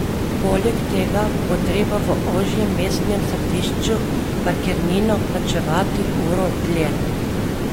Poleg tega bo treba v ožjem mestnem središču parkirnino plačevati uro dlje.